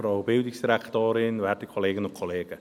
Für die SVP, Samuel Krähenbühl.